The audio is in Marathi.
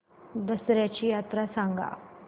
दसर्याची यात्रा सांगा